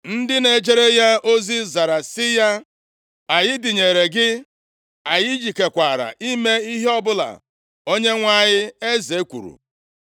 Ndị na-ejere ya ozi zara sị ya, “Anyị dịnyere gị! Anyị jikekwara ime ihe ọbụla onyenwe anyị eze kwuru.”